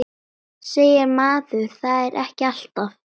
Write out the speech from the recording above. Segir maður það ekki alltaf?